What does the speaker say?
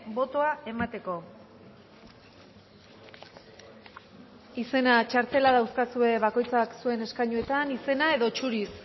botoa emateko izena txartela dauzkazue bakoitzak zuen eskainuetan izena edo zuriz